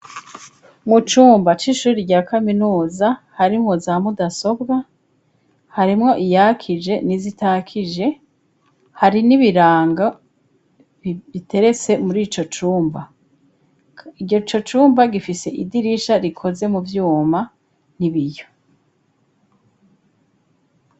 mu cumba c'ishuri rya kaminuza harimwo za mudasobwa, harimwo iyakije n'izitakije, hari n'ibiranga biteretse muri ico cumba, ico cumba gifise idirisha rikoze mu vyuma n'ibiyo.